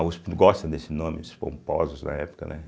A uspe gosta desse nome, os pomposos da época, né?